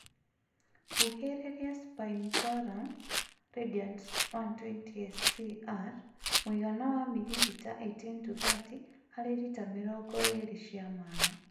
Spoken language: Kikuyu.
Huhĩrĩria spinetoram (Radiant 120 SC ((R))mũigana wa mililita 18-30 harĩ lita mirongo ĩĩrĩ cia maĩ.